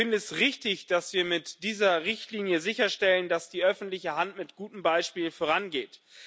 Ich finde es richtig, dass wir mit dieser Richtlinie sicherstellen, dass die öffentliche Hand mit gutem Beispiel vorangeht.